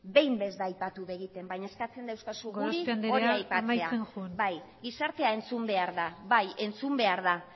behin ez da aipatu egiten baina eskatzen diguzu guri hori aipatzea gorospe andrea amaitzen joan bai gizartea entzun behar da bai entzun behar da